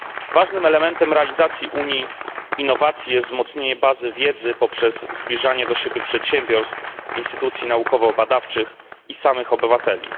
Ważnym elementem realizacji Unii innowacji jest wzmocnienie bazy wiedzy poprzez zbliżanie do siebie przedsiębiorstw, instytucji naukowo badawczych i samych obywateli.